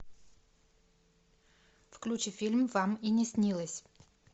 включи фильм вам и не снилось